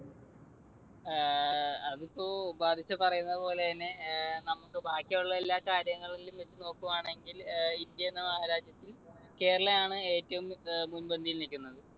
ഏർ അതിപ്പോ പറഞ്ഞപോലെ തന്നെ നമുക്ക് ബാക്കിയുള്ള എല്ലാ കാര്യങ്ങതളങ്ങളിലും വെച്ച് നോക്കുവാണെങ്കിൽ ഏർ ഇന്ത്യ എന്ന മഹാരാജ്യത്തിൽ കേരളയാണ് ഏറ്റവും അഹ് മുൻപന്തിയിൽ നിൽക്കുന്നത്.